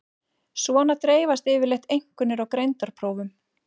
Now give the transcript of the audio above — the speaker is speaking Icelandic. Svona dreifast yfirleitt einkunnir á greindarprófum.